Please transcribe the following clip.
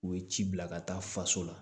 U ye ci bila ka taa faso la